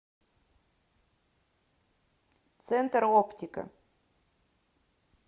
центр оптика